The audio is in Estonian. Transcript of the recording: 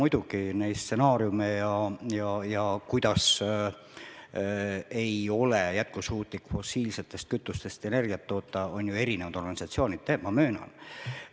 Muidugi, neid stsenaariume on läbi mängitud ja seda, kuidas ei ole jätkusuutlik fossiilsetest kütustest energiat toota, on eri organisatsioonid öelnud, ma möönan.